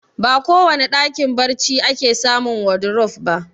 Ba kowane ɗakin barci ake samun wadurof ba